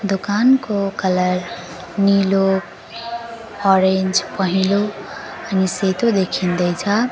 दोकानको कलर नीलो अरेन्ज पहेंलो अनि सेतो देखिँदै छ।